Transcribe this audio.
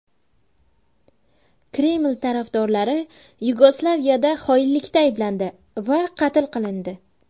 Kreml tarafdorlari Yugoslaviyada xoinlikda ayblandi va qatl qilindi.